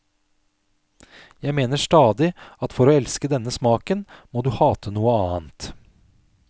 Jeg mener stadig at for å elske denne smaken må du hate noe annet.